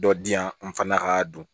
Dɔ di yan n fana ka don